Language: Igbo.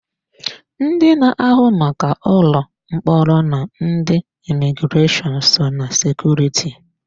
Ndị na-ahụ maka ụlọ mkpọrọ na ndị imigreshọnụ, so ná sekuriti.